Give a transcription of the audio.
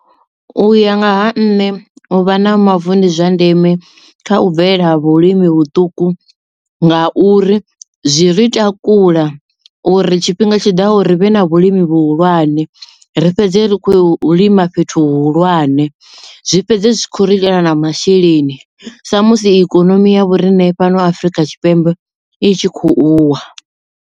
Uya ngaha nṋe u vha na mavu ndi zwa ndeme kha u bvelela ha vhulimi vhuṱuku nga uri zwi ri takula uri tshifhinga tshiḓaho uri vhe na vhulimi vhuhulwane ri fhedzele ri khou lima fhethu hu hulwane zwi fhedze zwi kho ri itela na masheleni sa musi ikonomi ya vhorine fhano Afrika Tshipembe i tshi kho u wa.